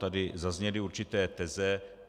Tady zazněly určité teze.